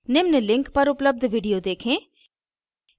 निम्न link पर उपलब्ध video देखें